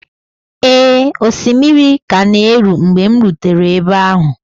Ee, osimiri ka na-eru mgbe m rutere ebe ahụ